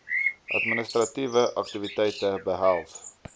administratiewe aktiwiteite behels